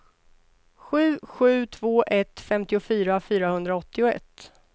sju sju två ett femtiofyra fyrahundraåttioett